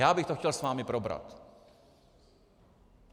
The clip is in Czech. Já bych to chtěl s vámi probrat.